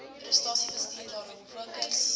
prestasiebestuur daarop fokus